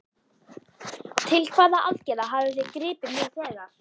Til hvaða aðgerða hafið þið gripið nú þegar?